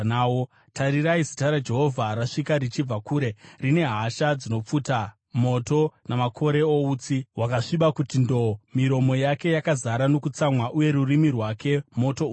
Tarirai, Zita raJehovha rasvika richibva kure, rine hasha dzinopfuta moto namakore outsi hwakasviba kuti ndo-o; miromo yake yakazara nokutsamwa, uye rurimi rwake moto unoparadza.